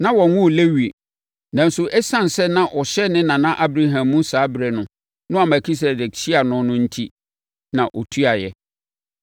Na wɔnwoo Lewi, nanso ɛsiane sɛ na ɔhyɛ ne nana Abraham mu saa ɛberɛ no a Melkisedek hyiaa no no enti na ɔtuaeɛ.